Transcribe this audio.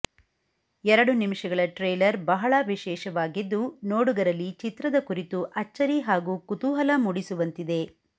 ಎರಡು ನಿಮಿಷಗಳ ಟ್ರೇಲರ್ ಬಹಳ ವಿಶೇಷವಾಗಿದ್ದು ನೋಡುಗರಲ್ಲಿ ಚಿತ್ರದ ಕುರಿತು ಅಚ್ಚರಿ ಹಾಗೂ ಕುತೂಹಲ ಮೂಡಿಸುವಂತಿದೆ